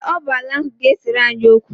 Ee, ọ bụ ala ahụ ga-esere anyị okwu.